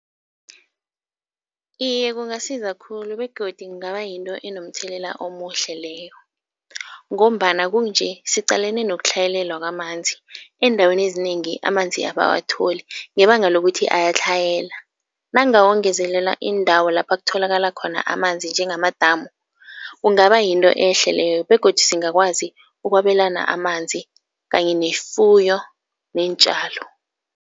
Iye kungasiza khulu begodu kungaba yinto enomthelela omuhle leyo ngombana kukunje siqalene nokutlhayelela kwamanzi. Eendaweni ezinengi amanzi abawatholi ngebanga lokuthi ayatlhayela. Nangawongezelela iindawo lapha kutholakala khona amanzi njengamadamu, kungaba yinto ehle leyo begodu singakwazi ukwabelana amanzi kanye nefuyo neentjalo.